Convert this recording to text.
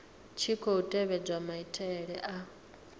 tshi khou tevhedzwa maitele a